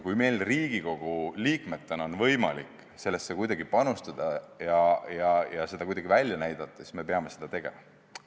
Kui meil Riigikogu liikmetena on võimalik sellesse oma panus anda ja seda kuidagi välja näidata, siis me peame seda tegema.